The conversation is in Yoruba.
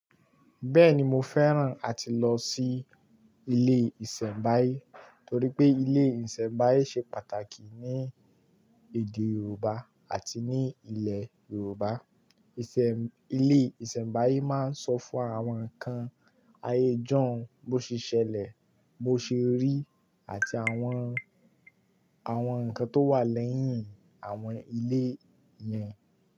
Bẹ́ẹ̀ni, mo fẹ́ràn àti lọ sí ilé ìsẹ̀mbáyé torí pé ilé ìsẹ̀mbáyé ṣe pàtàkì ní èdè Yoruba àti ní ilẹ̀ Yoruba. Ilé ìsẹ̀mbáyé máa ń sọ fún àwọn kan ayé jọ̀ọ́n bó ṣe ṣẹlẹ̀, bó ṣe rí àti àwọn, àwọn nǹkan tó wà lẹ́yìn àwọn ilé yẹn.